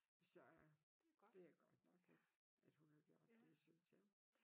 Så det er godt nok at at hun har gjort det synes jeg